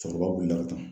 Cɛkɔrɔba b'i la ka taa